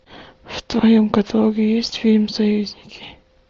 в твоем каталоге есть фильм союзники